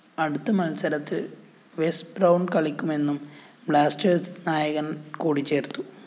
അടുത്ത മത്സരത്തില്‍ Wes Brown കളിക്കുമെന്നും ബ്ലാസ്റ്റേഴ്സ്‌ നായകന്‍ കൂട്ടിച്ചേര്‍ത്തു